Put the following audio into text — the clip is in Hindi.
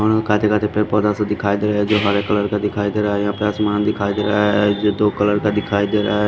पेड़ पैधा सा दिखाई दे रहा है जो हरे कलर का दिखाई दे रहा है यहां पे आसमान दिखाई दे रहा है जो दो कलर का दिखाई दे रहा--